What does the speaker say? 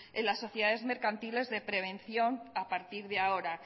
en las sociedades mercantiles de prevención a partir de ahora